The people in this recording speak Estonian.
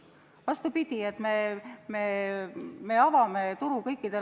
Vastupidi, me avame turu kõikidele.